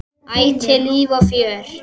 Ætíð líf og fjör.